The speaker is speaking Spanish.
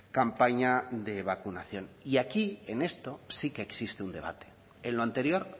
campaña de vacunación y aquí en esto sí que existe un debate en lo anterior